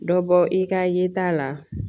Dɔ bɔ i ka yeta la